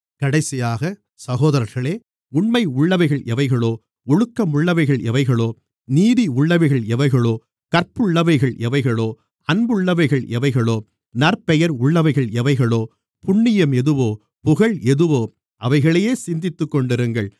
கடைசியாக சகோதரர்களே உண்மையுள்ளவைகள் எவைகளோ ஒழுக்கமுள்ளவைகள் எவைகளோ நீதியுள்ளவைகள் எவைகளோ கற்புள்ளவைகள் எவைகளோ அன்புள்ளவைகள் எவைகளோ நற்பெயர் உள்ளவைகள் எவைகளோ புண்ணியம் எதுவோ புகழ் எதுவோ அவைகளையே சிந்தித்துக்கொண்டிருங்கள்